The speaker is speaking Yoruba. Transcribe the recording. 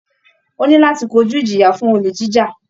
Ó ní láti kojú ìjìyà fún olè jíjà